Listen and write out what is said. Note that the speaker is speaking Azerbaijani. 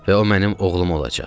Və o mənim oğlum olacaq.